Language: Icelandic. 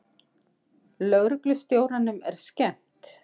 Lögreglustjóranum er skemmt.